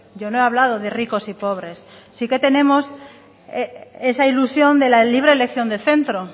yo no he hablado de ricos y pobres sí que tenemos esa ilusión de la libre elección de centro